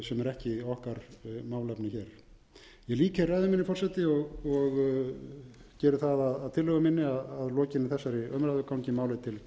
ekki okkar málefni hér ég lýk hér ræðu minni forseti og geri það að tillögu minni að lokinni þessari umræðu gangi málið til